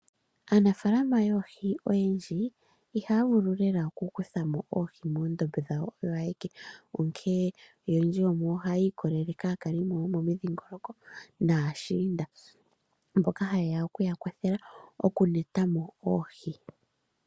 Aanafaalama yoohi oyendji ihaya vulu lela okukuthamo oohi moondombe dhawo onkene oyendji yomuyo ohaya ikolelele kaakalimo yomomidhingoloko naashiinda mboka ha yeya oku yakwathela okuyulamo oohi.